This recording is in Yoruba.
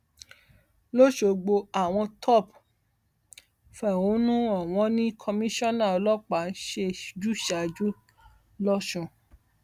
lọsogbó àwọn top fẹhónú hàn wọn ni kọmíṣánná ọlọpàá ń ṣojúsàájú lọ́sun